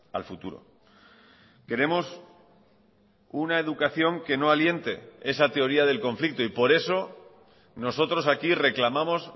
al futuro queremos una educación que no aliente esa teoría del conflicto y por eso nosotros aquí reclamamos